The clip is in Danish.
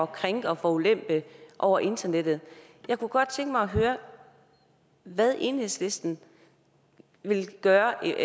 krænke og forulempe over internettet jeg kunne godt tænke mig at høre hvad enhedslisten vil gøre